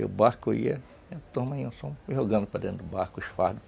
Aí o barco ia, a turma ia só jogando para dentro do barco os fardos.